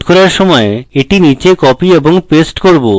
code করার সময় আমি এটি নীচে copy এবং paste করব